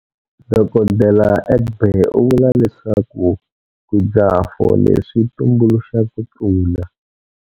Dr Egbe u vula leswaku ku dzaha fole swi tumbuluxa ku tlula.